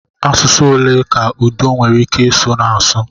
Asụsụ ole ka Udo nwere ike ịsụ na-asụ?